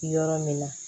Yɔrɔ min na